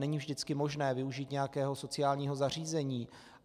Není vždycky možné využít nějakého sociálního zařízení.